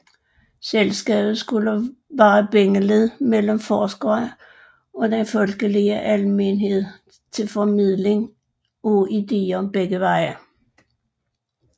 Selskabet skulle være bindeled mellem forskerne og den folkelige almenhed til formidling af ideer begge veje